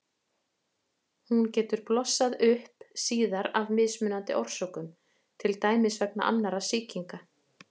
Hún getur blossað upp síðar af mismunandi orsökum, til dæmis vegna annarra sýkinga.